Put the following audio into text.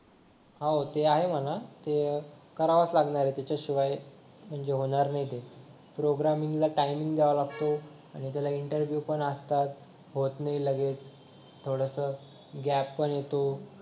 हो ते आहे म्हणा ते करावाच लागणार आहे त्याच्याशिवाय म्हणजे होणार नाही ते प्रोग्रामिंग ला टायमिंग द्यावा लागतो आणि त्याला इंटरव्यू पण असतात होत नाही लगेच थोडसं गॅप पण येतो